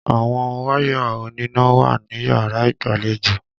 Àwọn wáyà oníná wà níyàrá ìgbàlejò.